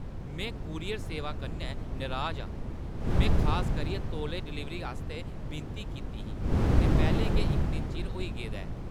में कूरियर सेवा कन्नै नराज आं। में खास करियै तौले डलीवरी आस्तै विनती कीती ही, ते पैह्‌लें गै इक दिन चिर होई गेदा ऐ!